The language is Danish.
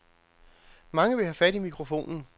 Mange vil have fat i mikrofonen.